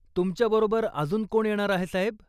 तुमच्याबरोबर अजून कोण येणार आहे साहेब?